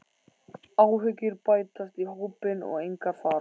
Áhyggjur bætast í hópinn og engar fara.